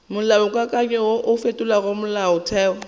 molaokakanywa wo o fetolago molaotheo